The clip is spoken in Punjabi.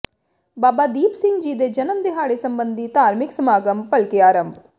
ਬਾਬਾ ਦੀਪ ਸਿੰਘ ਜੀ ਦੇ ਜਨਮ ਦਿਹਾੜੇ ਸਬੰਧੀ ਧਾਰਮਿਕ ਸਮਾਗਮ ਭਲਕੇ ਆਰੰਭ